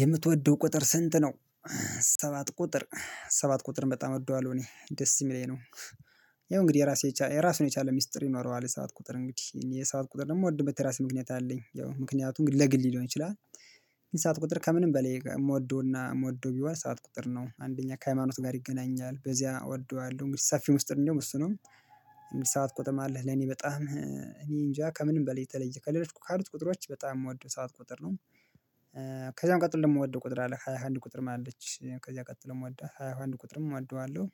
የምትወደው ቁጥር ስንት ነው? ሰባት ቁጥር ሰባት ቁጥርን በጣም እወደዋለሁ እኔ ደስ እሚለኝ ነው። ያው እንግዲህ የራሴ የራሱን የቻለ ሚስጥር ይኖረዋል የሰባት ቁጥር እንግዲህ የሰባት ቁጥር ደግሞ እምወድበት የራሱ ምክንያት አለኝ ያው ምክንያቱን እንገዲ ለግሌ ሊሆን ይችላል። ሰባት ቁጥር ከምንም በላይ እምወደውና እምወደው ቢሆን ሰባት ቁጥር ነው አንደኛ ከሃይማኖት ጋር ይገናኛል በዚያ እወደዋለሁ እንግዲህ ሰፊ ሚስጥር እንዲያውም እሱ ነው። ሰባት ቁጥር ማለት ለኔ በጣም እኔ እንጃ ከምንም በላይ የተለየ ከሌሎች ካሉት ቁጥሮች በጣም እምወደው ሰባት ቁጥር ነው። ከዛም ቀጥሎ እምወደው ቁጥር አለ ሃያ አንድ ቁጥርም አለች ከዛ ቀጥሎ እወዳለሁ ሃያ አንድ ቁጥርም እወዳዋለሁ።